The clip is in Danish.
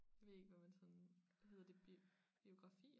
Ved ikke hvad man sådan hedder det biografier?